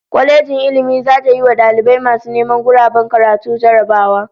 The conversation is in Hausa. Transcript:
Kwalejin Ilmin zata yiwa dalibai masu neman guraben karatu jarrabawa